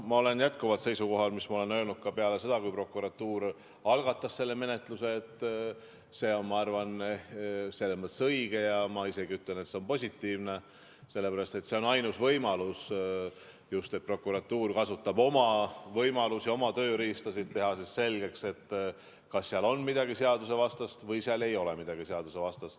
Ma olen jätkuvalt seisukohal, mida ma ütlesin ka peale seda, kui prokuratuur algatas selle menetluse, et see on minu arvates selles mõttes õige, ma isegi ütlen, et see on positiivne, sest see on ainus võimalus, et prokuratuur kasutab oma võimalusi, oma tööriistasid, et teha selgeks, kas seal on midagi seadusvastast või seal ei ole midagi seadusvastast.